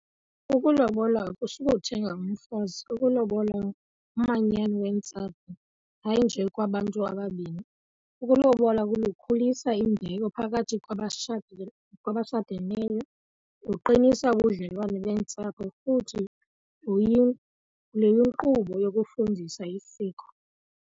Ukulobola akutsho ukuthenga umfazi. Ukulobola lumanyano leentsapho, hayi nje kwabantu ababini. Ukulobola kulukhulisa imbeko phakathi kwabashadile, kwabashadeneyo. Lukuqinisa ubudlelwane beentsapho futhi luyinkqubo yokufundisa isiko.